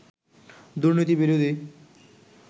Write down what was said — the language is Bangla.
দুর্নীতি বিরোধী